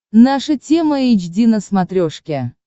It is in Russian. наша тема эйч ди на смотрешке